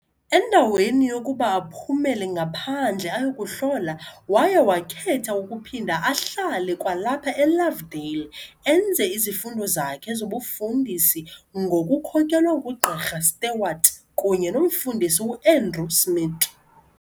Endaweni yokuba aphumele ngaphandle ayekuhlohla, waye wakhetha ukuphinda ahlale kwalapha eLovedale enze izifundo zakhe zobufundisi ngokukhokelwa nguGqirha Stewart kunye nomfundisi uAndrew Smith.